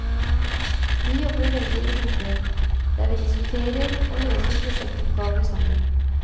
Vi jobber veldig i grupper, der vi diskuterer og løser prosjektoppgaver sammen.